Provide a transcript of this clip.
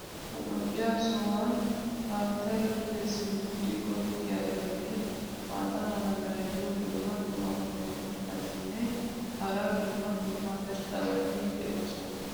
ha lo'iya sohuwan haatay duge simmidi goggiyaageenne maata mala meray diyo dumma dumma qommo mitattinne hara dumma dumma irxxabati de'oosona.